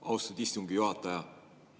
Austatud istungi juhataja!